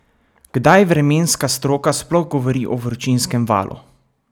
Kdaj vremenska stroka sploh govori o vročinskem valu?